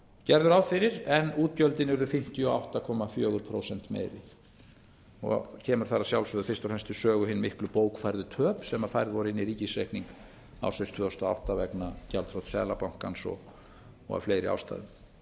gerðu ráð fyrir en útgjöldin urðu fimmtíu og átta komma fjórum prósentum meiri og kemur þar að sjálfsögðu fyrst og fremst við sögu hin miklu bókfærðu töp sem færð voru inn í ríkisreikning ársins tvö þúsund og átta vegna gjaldþrots seðlabankans og af fleiri ástæðum